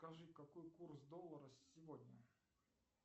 скажи какой курс доллара сегодня